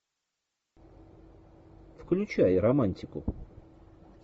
включай романтику